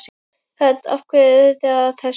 Hödd: Af hverju eruð þið að þessu?